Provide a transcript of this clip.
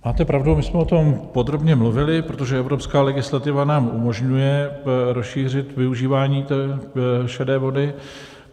Máte pravdu, my jsme o tom podrobně mluvili, protože evropská legislativa nám umožňuje rozšířit využívání šedé vody.